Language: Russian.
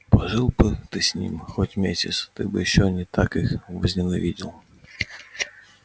пожил бы ты с ними хоть месяц ты бы ещё не так их возненавидел